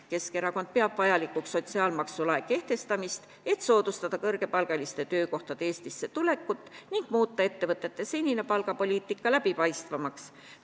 Keskerakond peab vajalikuks sotsiaalmaksu lae kehtestamist, et soodustada kõrgepalgaliste töökohtade Eestisse tulekut ning muuta ettevõtete senine palgapoliitika läbipaistvamaks.